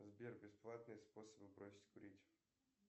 сбер бесплатные способы бросить курить